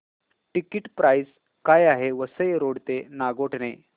ticket price काय आहे Vasai road ते नागोठणे